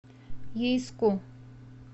ейску